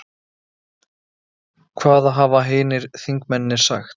Hvaða hafa hinir þingmennirnir sagt?